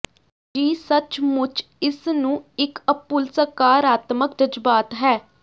ਜੀ ਸੱਚਮੁੱਚ ਇਸ ਨੂੰ ਇਕ ਅਭੁੱਲ ਸਕਾਰਾਤਮਕ ਜਜ਼ਬਾਤ ਹੈ